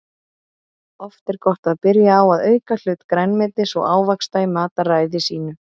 Oft er gott að byrja á að auka hlut grænmetis og ávaxta í mataræði sínu.